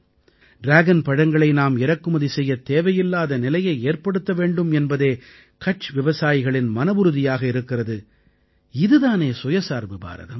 dragon பழங்களை நாம் இறக்குமதி செய்யத் தேவையில்லாத நிலையை ஏற்படுத்த வேண்டும் என்பதே கட்ச் விவசாயிகளின் மனவுறுதியாக இருக்கிறது இது தானே சுயசார்பு பாரதம்